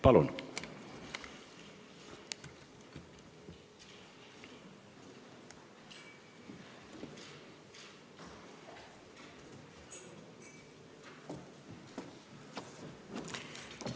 Palun!